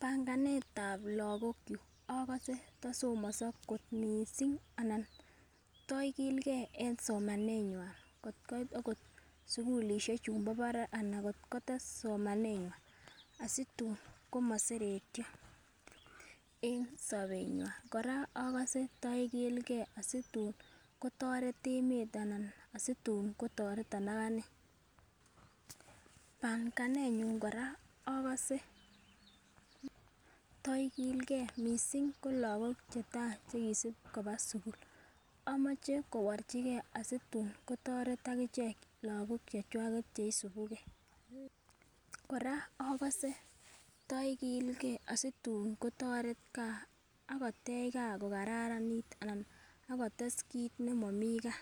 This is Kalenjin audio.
Panganetab Lokok kyuk okose tosomoso kot missing anan toikilgee en somanenywan kotkoit okot sukulishek chumbo barak anan kotkotes someneywa asitun komoseretyo somebenywa. Koraa okose to ikilgee situn kotoret emet anan asitun kotoreton akanee. Panganenyun Koraa okose to ikilgee missing ko lokok chetai chekisibi koba sukul omoche kiborchigee situn kotoret akichek lokok chechwaket cheisubugee. Koraa okose toikilgee asitun kotoret gaa ak kotech gaa ko kararanit anan akotestai kit nemomii gaa,